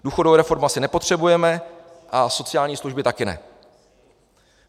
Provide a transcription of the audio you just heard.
Důchodovou reformu asi nepotřebujeme a sociální služby taky ne.